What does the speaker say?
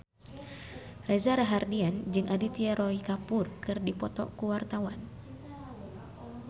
Reza Rahardian jeung Aditya Roy Kapoor keur dipoto ku wartawan